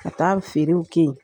Ka taa feerew ke yen.